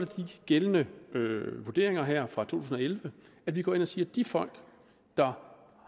de gældende vurderinger her fra to tusind og elleve at vi går ind og siger at de folk der